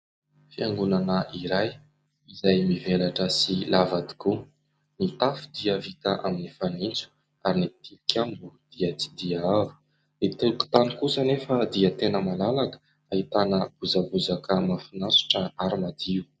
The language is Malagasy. Fiangonana iray izay mivelatra sy lava tokoa. Ny tafo dia vita amin'ny fanitso ary ny tilikambo dia tsy dia avo ny tokotany kosa nefa dia tena malalaka fa ahitana bozabozaka mahafinaritra ary madio.